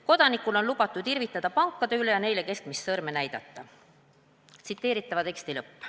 Kodanikul on lubatud irvitada pankade üle ja neile keskmist sõrme näidata.